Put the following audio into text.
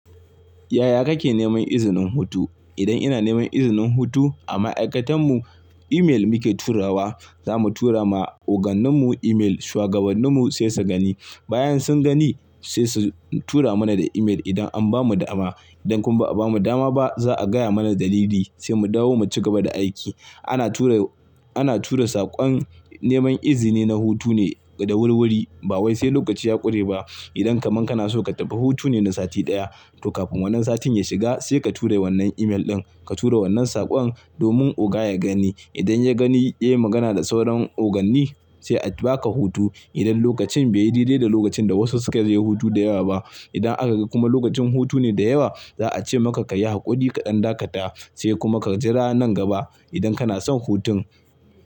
Yaya kake neman izinin hutu? Idan ina neman izinin hutu a ma'aikatan mu email muke turawa. Za mu tura ma ogannin mu email, shuwagabannin mu sai su gani. Bayan sun gani sai su tura mana da email idan an bamu dama. Idan kuma ba a bamu dama ba za'a gaya mana dalili sai mu dawo mu cigaba da aiki. Ana tura, ana tura saƙon neman izini na hutu ne da wurwuri. Ba wai sai lokaci ya ƙure ba. Idan kaman kana so ka tafi hutu ne na sati ɗaya, to kafin wannan satin ya shiga sai ka tura wannan email ɗin. Ka tura wannan saƙon domin oga ya gani. Idan ya gani ya yi magana da sauran oganni sai a baka hutu. Idan lokacin bai yi dire da lokacin da wasu suke ziyarar hutu da yawa ba. Idan aka ga kuma lokacin hutu ne da yawa za'a ce maka ka yi haƙuri kaɗan dakata sai kuma ka jira nan gaba idan kana son hutun.